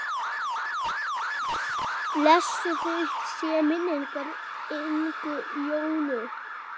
Blessuð sé minning Ingu Jónu.